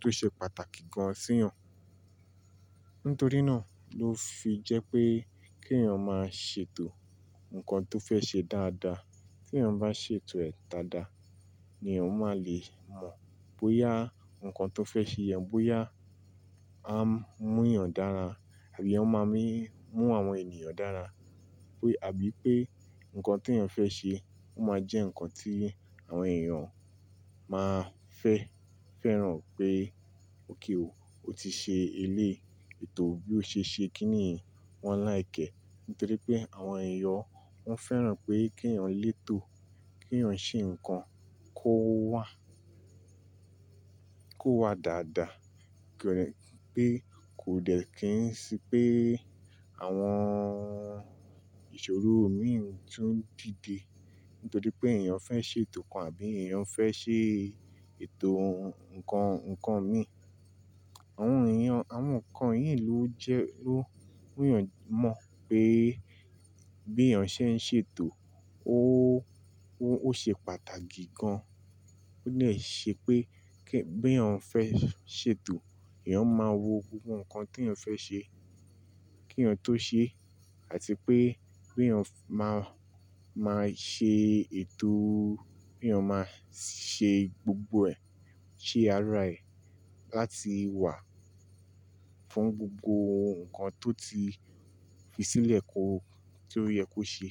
tó ṣe pàtàkì gan sí èèyàn. Nítorí náà ló fi jẹ́ pé kí èèyàn máa ṣètò ǹkan tó fẹ́ ṣe dáadáa. Tí èèyàn bá ṣètò ẹ̀ dáadáa ni ọmọ a lè mọ̀ bóyá ǹkan tó fẹ́ ṣe yẹn, bóyá a mú èèyàn dára àbí ó máa mí mú àwọn ènìyàn dára. Pé àbí pé ǹkan tí èèyàn fẹ́ ṣe ó máa jẹ́ ǹkan tí àwọn èèyàn máa fẹ́, fẹ́ràn pé ókè o, o ti ṣe eléèto bí o ṣe ṣe, kí nìyí wọ́n like ẹ́. Nítorí pé àwọn èèyàn wọ́n fẹ́ràn pé kí èèyàn lé ètò, kí èèyàn ṣe ǹkan kó wà, kó wà dáadáa. Kò dẹ-- pé kò dẹ̀ kí n sí pé àwọn ìṣòro mí ń tún dìde. Nítorí pé èèyàn fẹ́ ṣe ètò kan àbí èèyàn fẹ́ ṣe ètò ǹkan, ǹkan mi. Àwọn èèyàn, àwọn ǹkan yìí ló jẹ́ ló mú èèyàn mọ̀ pé bí èèyàn ṣe ń ṣètò ó, ó ṣe pàtàkì gan. Ó dẹ̀ ṣe pé kí, bí èèyàn fẹ́ ṣètò, èèyàn máa wo gbogbo ǹkan tí èèyàn fẹ́ ṣe kí èèyàn tó ṣe àti pé bí èèyàn máa, máa ṣe ètò, bí èèyàn máa ṣe gbogbo ẹ̀, ṣe ara ẹ̀ láti wà fún gbogbo ǹkan tó ti fi sílẹ̀ kó, tó yẹ kó ṣe.